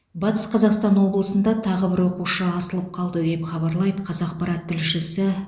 батыс қазақстан облысында тағы бір оқушы асылып қалды деп хабарлайды қазақпарат тілшісі